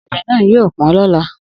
Ogede na yio po lola.